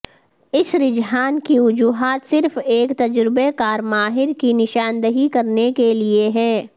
اس رجحان کی وجوہات صرف ایک تجربہ کار ماہر کی نشاندہی کرنے کے لئے ہے